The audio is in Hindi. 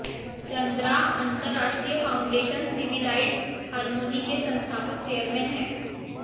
चंद्रा अंतरराष्ट्रीय फाउंडेशन सिविलाइज्ड हारमोनी के संस्थापक चेयरमैन हैं